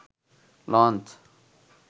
launch